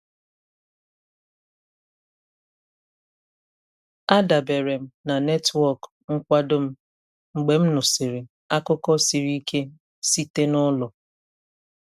A dabere m na netwọk nkwado m mgbe m nụsịrị akụkọ siri ike site n'ụlọ.